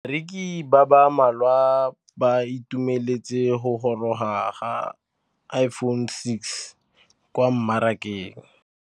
Bareki ba ba malwa ba ituemeletse go gôrôga ga Iphone6 kwa mmarakeng.